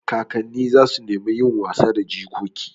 Kakanni za su nemi yin wasa da jikoki.